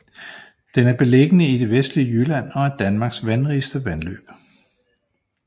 Den er beliggende i det vestlige Jylland og er Danmarks vandrigeste vandløb